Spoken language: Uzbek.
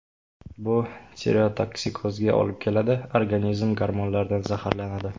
Bu tireotoksikozga olib keladi – organizm gormonlardan zaharlanadi.